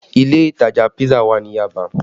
Ilé ìtajà pisa wà ní Yaba